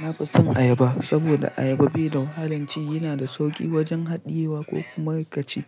Na fison ayaba saboda ayaba bai da wahalan ci, yana da sauki wajen hadiyewa ko kuma ka ci.